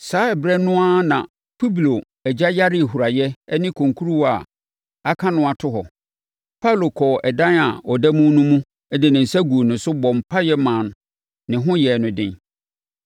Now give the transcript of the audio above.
Saa ɛberɛ no ara na Publio agya yaree huraeɛ ne konkurowa a aka no ato hɔ. Paulo kɔɔ ɛdan a na ɔda mu no mu de ne nsa guu ne so, bɔɔ mpaeɛ maa ne ho yɛɛ no den.